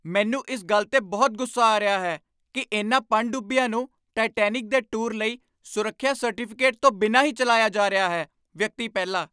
ਮੈਨੂੰ ਇਸ ਗੱਲ 'ਤੇ ਬਹੁਤ ਗੁੱਸਾ ਆ ਰਿਹਾ ਹੈ ਕੀ ਇਨ੍ਹਾਂ ਪਣਡੁੱਬੀਆਂ ਨੂੰ ਟਾਇਟੈਨਿਕ ਦੇ ਟੂਰ ਲਈ ਸੁਰੱਖਿਆ ਸਰਟੀਫਿਕੇਟ ਤੋਂ ਬਿਨਾਂ ਹੀ ਚੱਲਾਇਆ ਜਾ ਰਿਹਾ ਹੈ ਵਿਅਕਤੀ ਪਹਿਲਾ